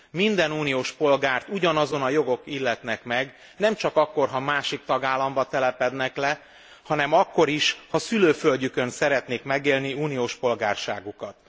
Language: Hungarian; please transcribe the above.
Minden uniós polgárt ugyanazon a jogok illetnek meg, nem csak akkor ha másik tagállamban telepednek le, hanem akkor is, ha szülőföldjükön szeretnék megélni uniós polgárságukat.